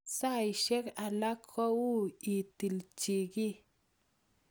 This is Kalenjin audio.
Saisyek alak ko ui itil chi ki